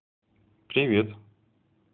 привет